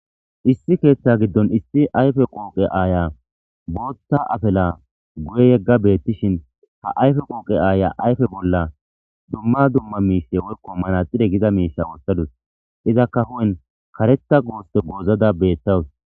Issi keeththa giddon issi ayfe qooqe aaya booththa afala guye yegga beettishin ha ayfe qooqe aaya ayfe bolla dumma dumma miishe woyko manaxire giza miisha wothadus. Izaka hu'en kareththa goose goozada beettawus.